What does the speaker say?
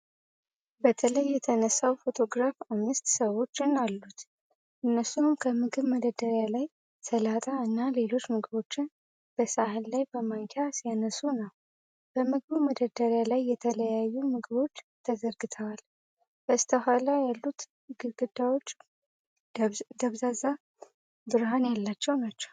በተለይ የተነሳው ፎቶግራፍ አምስት ሰዎችን አሉት። እነሱም ከምግብ መደርደሪያ ላይ ሰላጣ እና ሌሎች ምግቦችን በሳህን ላይ በማንኪያ ሲያነሱ ነው። በምግቡ መደርደሪያ ላይ የተለያዩ ምግቦች ተዘርግተዋል፤ በስተኋላ ያሉት ግድግዳዎች ደብዛዛ ብርሃን ያላቸው ናቸው።